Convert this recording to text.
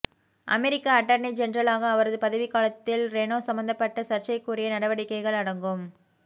அமெரிக்க attorney ஜெனரலாக அவரது பதவி காலத்தில் ரெனோ சம்பந்தப்பட்ட சர்ச்சைக்குரிய நடவடிக்கைகள் அடங்கும்